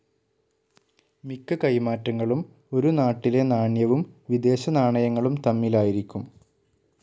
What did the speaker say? മിക്ക കൈമാറ്റങ്ങളും ഒരു നാട്ടിലെ നാണ്യവും വിദേശനാണയങ്ങളും തമ്മിലായിരിക്കും.